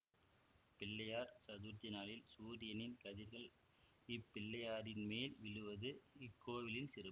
பிள்ளையார் சதுர்த்தி நாளில் சூரியனின் கதிர்கள் இப்பிள்ளையாரின் மேல் விழுவது இக்கோவிலின் சிறப்பு